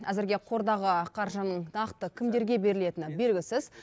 әзірге қордағы нақты кімдерге берілетіні белгісіз